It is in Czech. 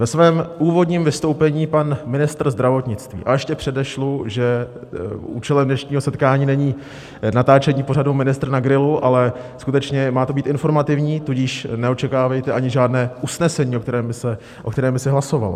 Ve svém úvodním vystoupení pan ministr zdravotnictví - a ještě předešlu, že účelem dnešního setkání není natáčení pořadu Ministr na grilu, ale skutečně má to být informativní, tudíž neočekávejte ani žádné usnesení, o kterém by se hlasovalo.